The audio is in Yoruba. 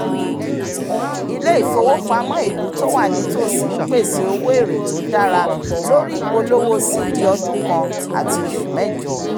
ilé-ifowopamọ́ ìlú tó wà nítòsí ń pèsè owó èrè tó dára lórí ìpolówó cd ọdún kan àti oṣù mẹ́jọ